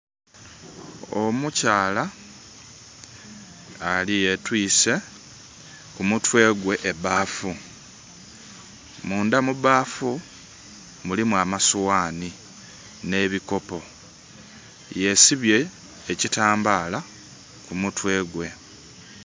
Omukyala yetwise kumutwe gwe ebaafu mundha mu baafu mulimu amasoghani nh'ebikopo yesibye ekitambala kumutwe gwe.